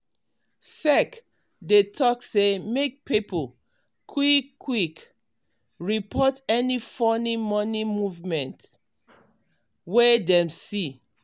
sec dey talk say make pipo quick-quick report any funny money movement wey dem see.